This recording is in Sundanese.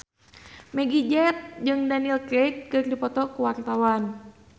Meggie Z jeung Daniel Craig keur dipoto ku wartawan